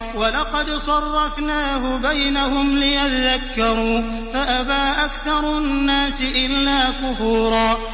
وَلَقَدْ صَرَّفْنَاهُ بَيْنَهُمْ لِيَذَّكَّرُوا فَأَبَىٰ أَكْثَرُ النَّاسِ إِلَّا كُفُورًا